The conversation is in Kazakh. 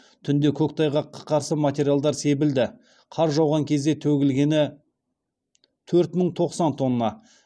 түнде көктайғаққа қарсы материалдар себілді қар жауған кезде төгілгені төрт мың тоқсан тонна